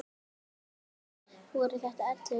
Samtals voru þetta ellefu börn.